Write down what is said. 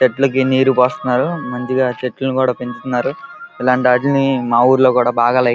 చెట్లకు నీరు పోస్తున్నారు మంచిగా చెట్లను కూడా పెంచుతున్నారు. ఇలాంటి వాటిని మా ఊర్లో కూడా బాగా లైక్ --